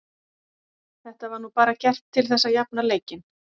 Þetta var nú bara gert til þess að jafna leikinn.